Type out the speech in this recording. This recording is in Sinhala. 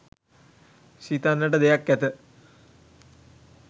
සිතන්නට දෙයක් ඇත.